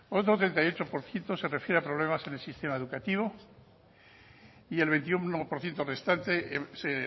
otro treinta y ocho por ciento se refiere a problemas en el sistema educativo y el veintiuno por ciento restante se